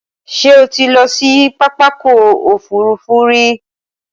Ṣé o ti lọ sí pápákọ̀ òfurufú rí?